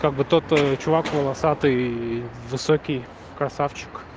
как бы тот чувак волосатый и высокий красавчик